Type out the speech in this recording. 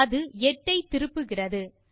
அது 8 ஐ திருப்புகிறது